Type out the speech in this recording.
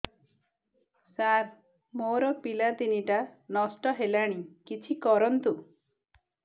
ସାର ମୋର ପିଲା ତିନିଟା ନଷ୍ଟ ହେଲାଣି କିଛି କରନ୍ତୁ